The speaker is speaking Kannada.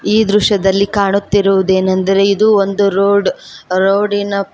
ಈ ದೃಶ್ಯದಲ್ಲಿ ಕಾಣುತ್ತಿರುದೇನೆಂದರೆ ಇದು ಒಂದು ರೋಡ್ ರೋಡಿನ--